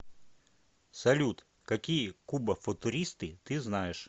салют какие кубофутуристы ты знаешь